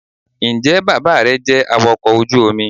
njẹ bàbá re jẹ awakọ ojú omí?